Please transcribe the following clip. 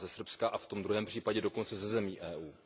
ze Srbska, a v tom druhém případě dokonce ze zemí EU.